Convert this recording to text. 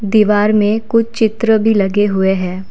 दीवार में कुछ चित्र भी लगे हुए हैं।